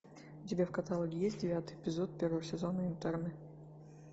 у тебя в каталоге есть девятый эпизод первого сезона интерны